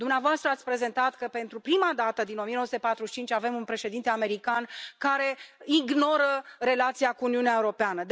Dumneavoastră ați prezentat că, pentru prima dată din 1945, avem un președinte american care ignoră relația cu Uniunea Europeană.